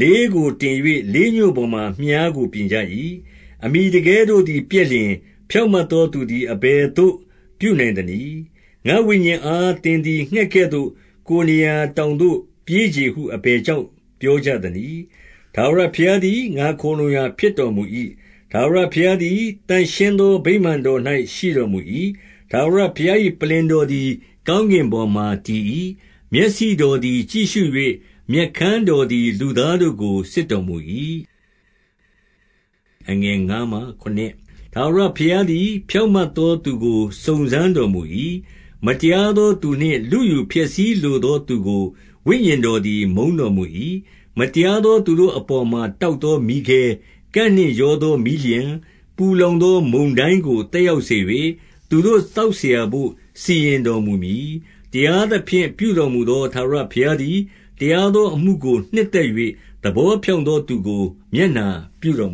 လေးကို တင်၍၊ လေးညှို့ပေါ်မှာ မြှားကိုပြင်ကြ၏။ 2 အမှီတကဲတို့သည် ပျက်လျင် ဖြောင့်မတ်သောသူသည် အဘယ်သို့ ပြုနိုင် သနည်း။ 3 ငါ့ဝိညာဉ်အား သင်သည်ငှက်သကဲ့သို့ ကိုယ် နေရာ တောင်ပေါ်သို့ ပြေးချေဟု အဘယ်ကြောင့် ပြောကြသနည်း။ ထာဝရဘုရားသည် ငါခိုလှုံရာဖြစ်တော် မူ၏။ 4 ထာဝရဘုရားသည် သန့်ရှင်းသော ဗိမာန် တော်၌ ရှိတော်မူ၏။ ထာဝရဘုရား၏ ပလ္လင်တော်သည် ကောင်းကင်ပေါ်မှာတည်၏။ မျက်စိတော်သည် ကြည့်ရှု ၍ မျက်ခမ်းတော်သည် လူသားတို့ကို စစ်တော်မူ၏။ 5 ထာဝရဘုရားသည် ဖြောင့်မတ်သော သူကို စုံစမ်းတော်မူ၏။ မတရားသောသူနှင့် လုယူဖျက်ဆီးလို သော သူကိုဝိညာဉ်တော်သည် မုန်းတော်မူ၏။ 6 မတရားသောသူတို့အပေါ်မှာ တောက်သော မီးခဲ၊ ကန့်နှင့်ရောသောမီးလျှံ၊ ပူလောင်သော မုန်တိုင်းကို သက်ရောက်စေ၍၊ သူတို့သောက်စရာဘို့ စီရင်တော် မူမည်။ 7 တရားသဖြင့် ပြုတော်မူသောထာဝရဘုရား သည် တရားသောအမှုကို နှစ်သက်၍ သဘောဖြောင့် သောသူကို မျက်နှာပြုတော်မ